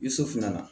I sofinna